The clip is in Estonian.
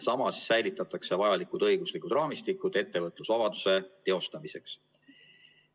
Samas säilitatakse vajalikud õiguslikud raamistikud ettevõtlusvabaduse teostamiseks.